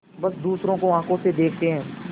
बस दूसरों को आँखों से देखते हैं